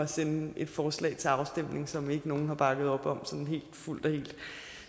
sende et forslag til afstemning som ikke nogen har bakket op om sådan fuldt og helt